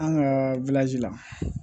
An ka la